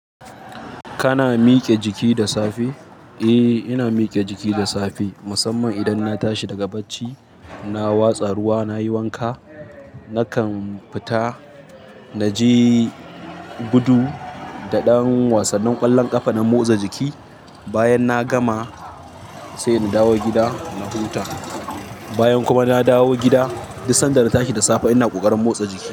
Kana miƙe jiki da safe? Eh ina miƙe jiki da safe musamman idan na tashi daga bacci. Na watsa ruwa, nayi wanka nakan fita naji gudu da ɗan wasanin ƙwallon ƙafa na motsa jiki. Bayan na gama sai in dawo gida na huta. Bayan kuma na dawo gida, duk sanda na tashi da safe ina ƙoƙarin motsa jiki.